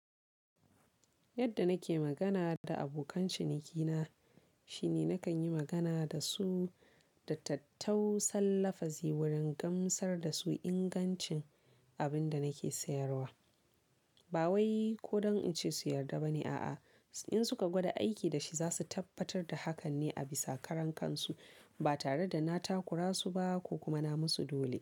Yadda nake magana da abokan cinikina shine nakan yi magana da su da tattausan lafazi wurin gamsar da su ingancin abin da nake sayarwa. Ba wai ko don in ce su yarda bane a'a. In suka gwada aiki da shi za su tabbatar da hakan ne a bisa karan kansu ba tare da na takura su ba ko kuma na musu dole.